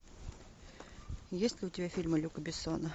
есть ли у тебя фильмы люка бессона